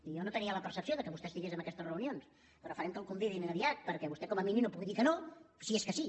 jo no tenia la percepció que vostè hi fos en aquestes reunions però farem que el convidin aviat perquè vostè com a mínim no pugui dir que no si és que sí